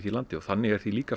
landi og þannig er því líka